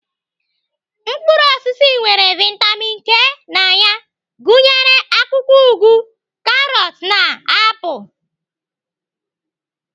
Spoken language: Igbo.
Mkpụrụ osisi nwere vitamin K na ya gụnyere akwụkwọ ụgụ, karọt na na apụl.